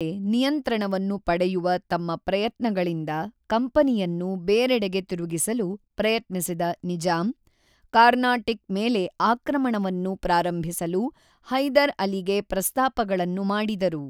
ಉತ್ತರ ಸರ್ಕಾರಗಳ ಮೇಲೆ ನಿಯಂತ್ರಣವನ್ನು ಪಡೆಯುವ ತಮ್ಮ ಪ್ರಯತ್ನಗಳಿಂದ ಕಂಪನಿಯನ್ನು ಬೇರೆಡೆಗೆ ತಿರುಗಿಸಲು ಪ್ರಯತ್ನಿಸಿದ ನಿಜಾಮ್, ಕಾರ್ನಾಟಿಕ್ ಮೇಲೆ ಆಕ್ರಮಣವನ್ನು ಪ್ರಾರಂಭಿಸಲು ಹೈದರ್ ಅಲಿಗೆ ಪ್ರಸ್ತಾಪಗಳನ್ನು ಮಾಡಿದರು.